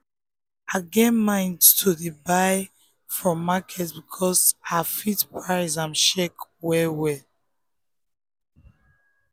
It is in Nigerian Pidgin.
i get mind to dey buy from market because i fit price and check well-well.